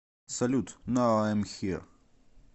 салют нау айм хир